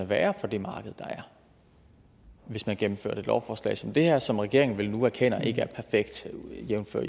være for det marked der er hvis man gennemførte et lovforslag som det her som regeringen vel nu erkender ikke er perfekt jævnfør